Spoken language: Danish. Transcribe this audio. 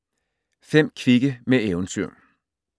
5 kvikke med eventyr